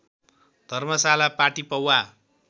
धर्मशाला पाटी पौवा